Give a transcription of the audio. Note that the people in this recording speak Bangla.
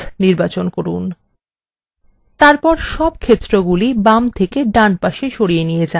তারপর সব ক্ষেত্রগুলি বাম then then পাশে সরিয়ে নিয়ে then